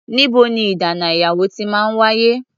Níbo ní ìdáná ìyàwó ti máa ń wáyé?